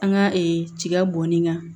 An ka tiga bɔnni kan